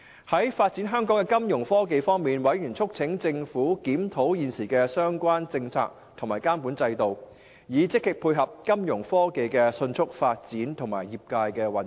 在發展香港的金融科技方面，委員促請政府檢討現時的相關政策及監管制度，以積極配合金融科技的迅速發展和業界的運作。